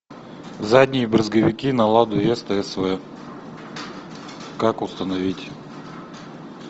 задние брызговики на ладу веста св как установить